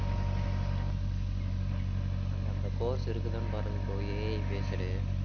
அங்க அந்த course இருக்குதான்னு பாருங்க bro AI based